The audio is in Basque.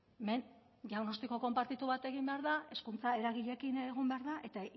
hemen diagnostiko konpartitu bat egin behar da hezkuntza eragileekin egon behar da eta